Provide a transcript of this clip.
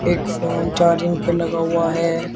एक phone charging पे लगा हुआ है।